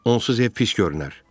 Onsuz ev pis görünər.